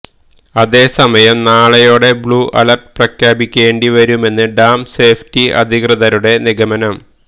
അതേ സമയം നാളെയോടെ ബ്ലൂ അലര്ട്ട് പ്രഖ്യാപിക്കേണ്ടി വരുമെന്നാണ് ഡാം സേഫ്ടി അധികൃതരുടെ നിഗമനം